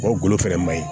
O golo fɛnɛ maɲi